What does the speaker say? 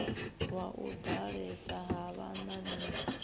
wa u ḓalesa ha vhanameli